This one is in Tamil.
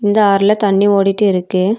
இந்த ஆறுல தண்ணி ஓடிட்டு இருக்கு.